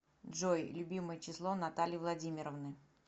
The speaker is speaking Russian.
джой любимое число натальи владимировны